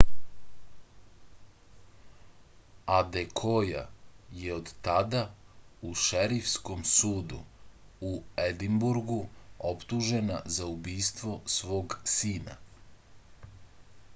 adekoja je od tada u šerifskom sudu u edinburgu optužena za ubistvo svog sina